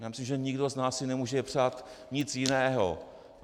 Já myslím, že nikdo z nás si nemůže přát nic jiného.